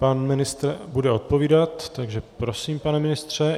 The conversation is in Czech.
Pan ministr bude odpovídat, takže prosím, pane ministře.